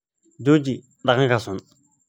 Jooji dhaqankaas xun